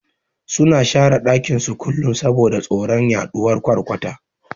Suna share dakin su kullun saboda tsoron yaduwan ƘwarƘwata